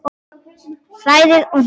Hrærið og hnoðið.